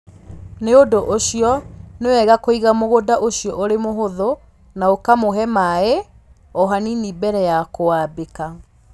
Nĩ ũndũ ũcio, nĩ wega kũiga mũgũnda ũcio ũrĩ mũhũthũ na ũkamũhe maĩ o hanini mbere ya kũwambĩka.